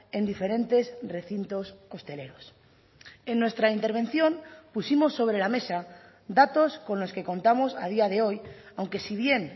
en diferentes recintos hosteleros en nuestra intervención pusimos sobre la mesa datos con los que contamos a día de hoy aunque si bien